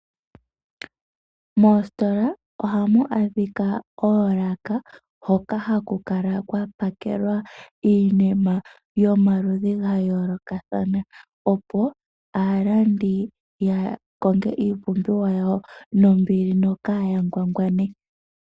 Moositola oha mu adhika oolaka hoka ha ku kala kwa pakelwa iinima yomaludhi ga yoolokathana, opo aalandi ya konge iipumbiwa yawo nombili, nokaa ya ngwangwane.